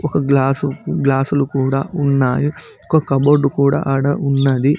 ఒక గ్లాసు గ్లాసులు కూడా ఉన్నావి ఒక కబోర్డ్ కూడా ఆడ ఉన్నది.